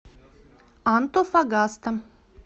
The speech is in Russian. антофагаста